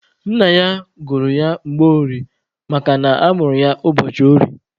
Nna ya gụrụ ya Mgborie makana a mụrụ ya ụbọchị orie.